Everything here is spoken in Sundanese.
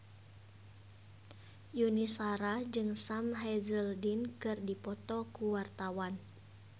Yuni Shara jeung Sam Hazeldine keur dipoto ku wartawan